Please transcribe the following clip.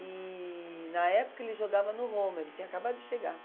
E na época ele jogava no Roma, ele tinha acabado de chegar.